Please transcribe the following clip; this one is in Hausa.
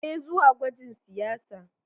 Je zuwa gwajin siyasa.